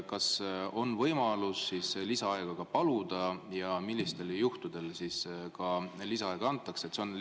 Kas on võimalus lisaaega paluda ja millistel juhtudel lisaaega antakse?